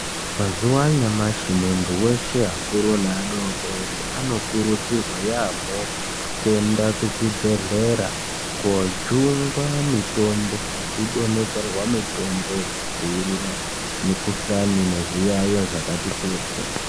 Mazuwa anyamashi muntu weshe, akuru neadodori anokurudzirwa yaamho, kuenda kuzvibhedhlera kojungwa mitombo, nekudonhedzerwa mitombo yekudzivirira mikhuhlani nezviyaiyo zvakati kuti.